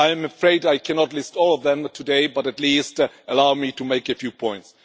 I am afraid I cannot list all of them today, but at least allow me to make a few points.